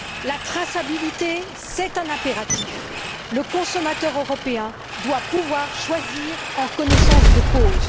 La traçabilité, c'est un impératif. Le consommateur européen doit pouvoir choisir en connaissance de cause.